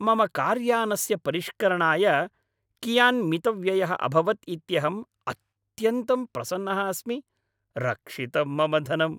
मम कार्यानस्य परिष्करणाय कियान् मितव्ययः अभवत् इत्यहम् अत्यन्तं प्रसन्नः अस्मि रक्षितं मम धनम्।